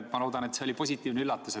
Ma loodan, et see oli positiivne üllatus.